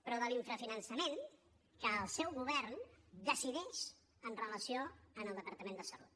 però de l’infrafinançament que el seu govern decideix amb relació al departament de salut